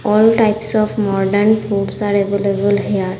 All types of modern foods আর available here.